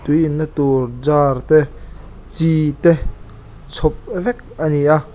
tui in na tur jar te chi te chhawp vek ani a.